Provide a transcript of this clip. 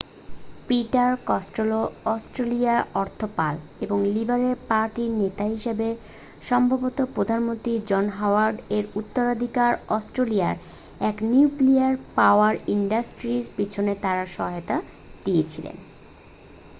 Peter Costello অস্ট্রেলিয়ার অর্থপাল এবং লিবারেল পার্টি-র নেতা হিসাবে সম্ভবত প্রধানমন্ত্রী জন হাওয়ার্ড এর উত্তরাধিকারী অস্ট্রেলিয়ার এক নিউক্লিয়ার পাওয়ার ইনডাস্ট্রির পিছনে তার সহায়তা দিয়েছেন